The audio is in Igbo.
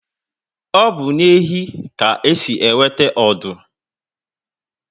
Obu na ehi ka esi enweta ọdụ